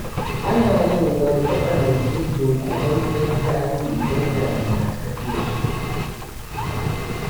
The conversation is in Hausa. Ana yin wani matsanancin dunkumammen zafi idan damina ta doso.